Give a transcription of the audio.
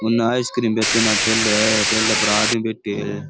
उन्ने आईसक्रीम बेचन आलो ठेलो है ठेला पर आदमी बैठे है।